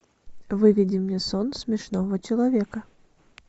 выведи мне сон смешного человека